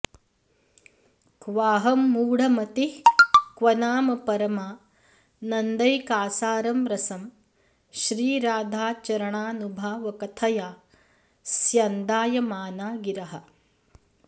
क्वाहं मूढमतिः क्व नाम परमानन्दैकासारं रसं श्रीराधाचरणानुभावकथया स्यन्दायमाना गिरः